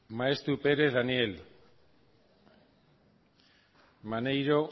maeztu perez daniel maneiro